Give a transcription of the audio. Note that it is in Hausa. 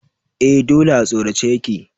Eh dole a sorace ya ke.